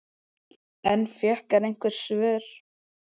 En fékk hann einhver svör?